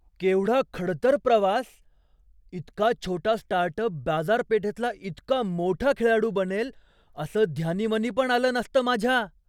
केवढा खडतर प्रवास! इतका छोटा स्टार्टअप बाजारपेठेतला इतका मोठा खेळाडू बनेल असं ध्यानीमनी पण आलं नसतं माझ्या.